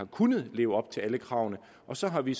kunne leve op til alle kravene og så har vi